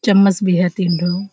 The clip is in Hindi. चम्‍मच भी है तीन ठो।